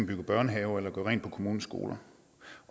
bygger børnehaver eller gør rent på kommunens skoler